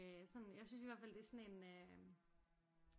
Øh sådan jeg synes i hvert fald det er sådan en øh